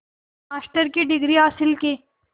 master की degree हासिल की